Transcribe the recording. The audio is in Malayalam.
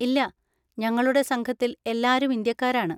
ഇല്ല, ഞങ്ങളുടെ സംഘത്തിൽ എല്ലാരും ഇന്ത്യക്കാരാണ്.